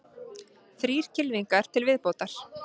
Þrír kylfingar til viðbótar